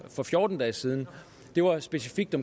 for fjorten dage siden var specifikt